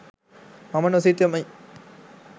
මම නොසිතමි.